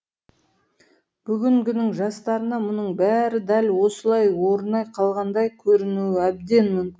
бүгінгінің жастарына мұның бәрі дәл осылай орнай қалғандай көрінуі әбден мүмкін